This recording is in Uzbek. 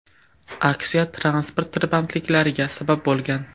Aksiya transport tirbandliklariga sabab bo‘lgan.